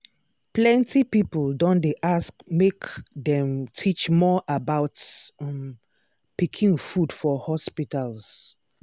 plenty people don dey ask make dem teach more about um pikin food for hospitals.